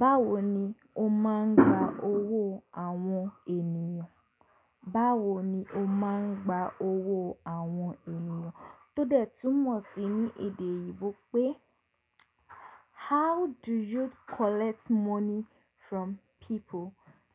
Báwo ni o máa ń gba owó àwọn ènìyàn? Báwo ni o máa ń gba owó àwọn ènìyàn? Tó dẹ túmọ̀ sí ní èdè eyibò pé how do you collect money from people?